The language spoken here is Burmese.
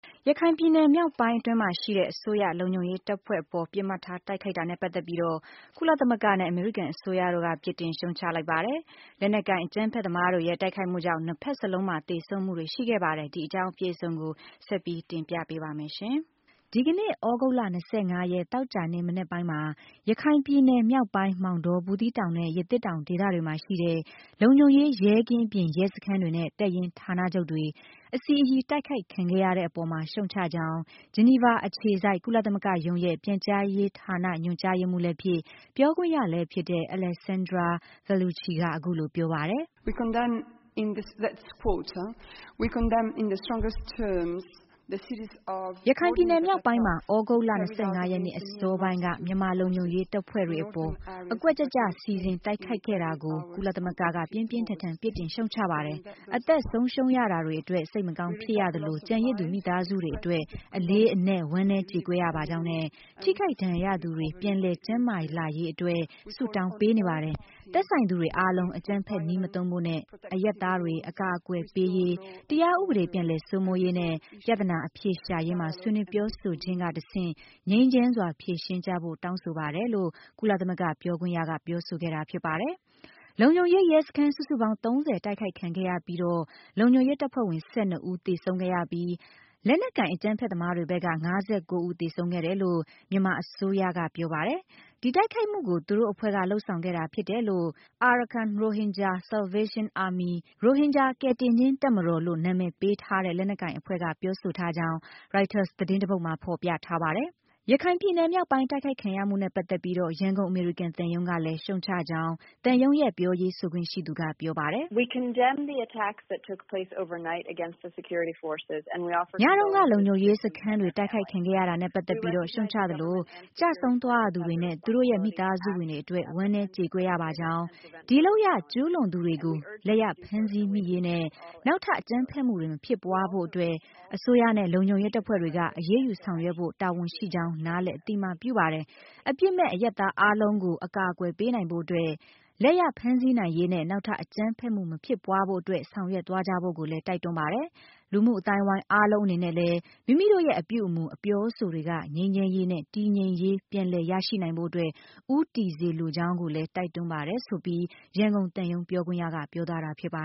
ရခိုင်ပြည်နယ် မြောက်ပိုင်းအတွင်းမှာရှိတဲ့ မြန်မာအစိုးရ လုံခြုံရေးတပ်အဖွဲ့အပေါ် ပစ်မှတ်ထားတိုက်ခိုက်တာနဲ့ပတ်သက်ပြီးတော့ ကုလသမဂ္ဂနဲ့ အမေရိကန် အစိုးရတို့က ပြစ်တင်ရှုတ်ချလိုက်ကြပါတယ်။ လက်နက်ကိုင် အကြမ်းဖက်သမားတွေရဲ့ တိုက်ခိုက်မှုကြောင့် နှစ်ဖက်စလုံးမှာ သေဆုံးမှုတွေရှိခဲ့ပါတယ်။ ဒီအကြောင်းအပြည့်အစုံကို ရှားဖောင် က ဆက်လက်ပြီးတင်ပြပေးပါမယ်။ ဒီကနေ့ သြဂုတ်လ ၂၅ ရက် သောကြာနေ့မနက်ပိုင်းမှာ ရခိုင်ပြည်နယ် မြောက်ပိုင်း မောင်တော၊ ဗူးသီးတောင်နဲ့ ရသေ့တောင် ဒေသတွေမှာရှိတဲ့ လုံခြုံရေးရဲကင်း အပြင် ရဲစခန်းတွေနဲ့ တပ်ရင်းဌာနချုပ်တွေ အစီအရီ တိုက်ခိုက်ခံရတဲ့အပေါ်မှာ ရှုတ်ချကြောင်း ဂျီနီဗာအခြေစိုက် ကုလသမဂ္ဂရုံးရဲ့ ပြန်ကြားရေးဌာနညွှန်ကြားရေးမှူးလည်းဖြစ်၊ ပြောခွင့်ရလည်းဖြစ်တဲ့ Alessandra Vellucci က အခုလို ပြောပါတယ်။ “ရခိုင်ပြည်နယ်မြောက်ပိုင်းမှာ သြဂုတ်လ ၂၅ ရက်နေ့အစောပိုင်းက မြန်မာလုံခြုံရေးတပ်ဖွဲ့တွေအပေါ် အကွက်ကျကျစီစဉ်တိုက်ခိုက်ခဲ့တာကို ကုလသမဂ္ဂက ပြင်းပြင်းထန်ထန် ပြစ်တင်ရှုတ်ချပါတယ်။ အသက်ဆုံးရှုံးရတာတွေအတွက် စိတ်မကောင်းဖြစ်ရသလို၊ ကျန်ရစ်သူမိသားစုတွေအတွက် အလေးအနက် ဝမ်းနည်းကြေကွဲရပါကြောင်းနဲ့ ထိခိုက်ဒဏ်ရာရသူတွေ ပြန်လည်ကျန်းမာလာရေးအတွက် ဆုတောင်းပေးနေပါတယ်။ သက်ဆိုင်သူတွေအားလုံး အကြမ်းဖက်နည်းမသုံးဖို့နဲ့ အရပ်သားတွေ အကာအကွယ်ပေးရေး၊ တရားဥပဒေပြန်လည်စိုးမိုးရေးနဲ့ ပြဿနာအဖြေရှာရေးမှာ ဆွေးနွေးပြောဆိုခြင်းကတဆင့် ငြိမ်းချမ်းစွာဖြေရှင်းကြဖို့ တောင်းဆိုပါတယ်။ ” လို့ ကုလသမဂ္ဂပြောခွင့်ရပြောပါတယ်။ လုံခြုံရေး ရဲစခန်း စုစုပေါင်း ၃၀ တိုက်ခိုက်ခံခဲ့ရပြီးတော့ လုံခြုံရေးတပ်ဖွဲ့ဝင် ၁၂ ဦးသေဆုံးခဲ့ရပြီး၊ လက်နက်ကိုင် အကြမ်းဖက်သမားတွေဘက်က ၅၉ ဦးသေဆုံးခဲ့တယ်လို့ မြန်မာအစိုးရကပြောပါတယ်။ ဒီတိုက်ခိုက်မှုကို သူတို့အဖွဲ့ကလုပ်ဆောင်ခဲ့တာဖြစ်တယ်လို့ Arakan Rohingya Salvation Army, လို့ နာမည်ပေးထားတဲ့ လက်နက်ကိုင်အဖွဲ့က ပြောဆိုထားကြောင်း ရိုက်တာသတင်းတပုဒ်မှာဖော်ပြထားပါတယ်။ ရခိုင်ပြည်နယ်မြောက်ပိုင်း တိုက်ခိုက်ခံရမှုနဲ့ပတ်သက်ပြီးတော့ ရန်ကုန်အမေရိကန် သံရုံးကလည်း ရှုတ်ချကြောင်း သံရုံးရဲ့ ပြောရေးဆိုခွင့်ရှိသူကပြောပါတယ်။ “ညတုန်းက လုံခြုံရေးစခန်းတွေ တိုက်ခိုက်ခံရတာနဲ့ ပတ်သက်ပြီးတော့ ရှုတ်ချသလို၊ ကျဆုံးသွားရသူတွေနဲ့ သူတို့ရဲ့ မိသားစုဝင်တွေအတွက် ဝမ်းနည်းကြေကွဲရပါကြောင်း၊ ဒီလုပ်ရပ် ကျူးလွန်သူတွေကို လက်ရဖမ်းဆီး မိရေးနဲ့ နောက်ထပ် အကြမ်းဖက်မှုတွေ မဖြစ်ပွားဖို့အတွက် အစိုးရနဲ့လုံခြုံရေးတပ်ဖွဲ့တွေက အရေးယူဆောင်ရွက်ဖို့ တာဝန်ရှိကြောင်း နားလည်အသိအမှတ်ပြုပါတယ်။ အပြစ်မဲ့ အရပ်သားအားလုံးကို အကာအကွယ်ပေးနိုင်ဖို့အတွက် လက်ရ ဖမ်းဆီးနိုင်ရေးနဲ့ နောက်ထပ် အကြမ်းဖက်မှု မဖြစ်ပွားဖို့အတွက် ဆောင်ရွက်သွားကြဖို့ကိုလည်း တိုက်တွန်းပါတယ်။ လူမှုအသိုက်အဝိုင်း အားလုံးအနေနဲ့လည်း မိမိတို့ရဲ့အပြုအမှု အပြောအဆိုတွေက ငြိမ်းချမ်းရေးနဲ့ တည်ငြိမ်ရေး ပြန်လည်ရရှိနိုင်ဖို့ အတွက် ဦးတည်စေလိုကြောင်း ကိုလည်း တိုက်တွန်းပါတယ်။” လို့ ရန်ကုန် အမေရိကန် သံရုံးပြောခွင့်ရက ပြောသွားတာဖြစ်ပါ